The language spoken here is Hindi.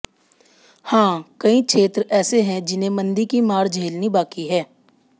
हां कई क्षेत्र ऐसे हैं जिन्हें मंदी की मार झेलनी बाकी है